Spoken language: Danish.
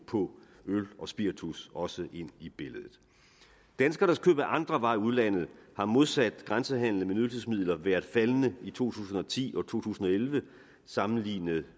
på øl og spiritus også ind i billedet danskernes køb af andre varer i udlandet har modsat grænsehandelen med nydelsesmidler været faldende i to tusind og ti og to tusind og elleve sammenlignet